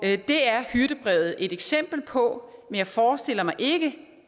det er hyrdebrevet et eksempel på men jeg forestiller mig ikke